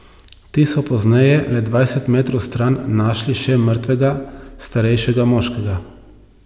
Ti so pozneje le dvajset metrov stran našli še mrtvega starejšega moškega.